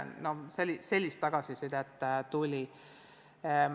Ka sellist tagasisidet tuli.